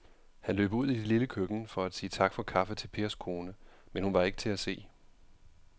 Han løb ud i det lille køkken for at sige tak for kaffe til Pers kone, men hun var ikke til at se.